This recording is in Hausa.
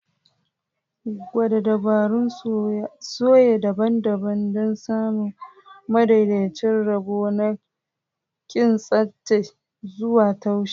Gwada dabarun soya daban-daban don samun madaidaicin rabo na kintsattse zuwa taushi.